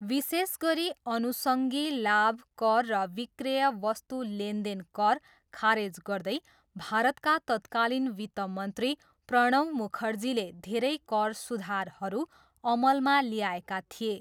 विशेष गरी अनुषङ्गी लाभ कर र विक्रेय वस्तु लेनदेन कर खारेज गर्दै भारतका तत्कालीन वित्तमन्त्री प्रणव मुखर्जीले धेरै कर सुधारहरू अमलमा ल्याएका थिए।